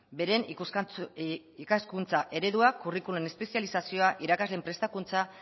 beren ikaskuntza eredua curriculum espezializazio irakasleen prestakuntza